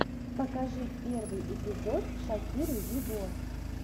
покажи первый эпизод шакиры виво